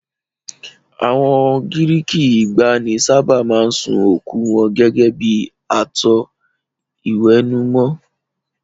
Àwọn Gíríìkì ìgbàanì sábà máa ń sun òkú wọn gẹ́gẹ́ bí ààtò íwẹ́númọ́.